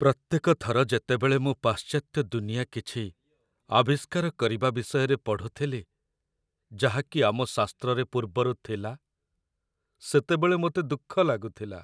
ପ୍ରତ୍ୟେକ ଥର ଯେତେବେଳେ ମୁଁ ପାଶ୍ଚାତ୍ୟ ଦୁନିଆ କିଛି "ଆବିଷ୍କାର" କରିବା ବିଷୟରେ ପଢ଼ୁଥିଲି, ଯାହାକି ଆମ ଶାସ୍ତ୍ରରେ ପୂର୍ବରୁ ଥିଲା, ସେତେବେଳେ ମୋତେ ଦୁଃଖ ଲାଗୁଥିଲା।